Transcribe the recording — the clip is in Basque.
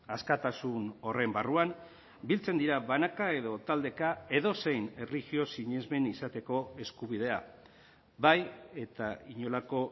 askatasun horren barruan biltzen dira banaka edo taldeka edozein erlijio sinesmen izateko eskubidea bai eta inolako